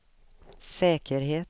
säkerhet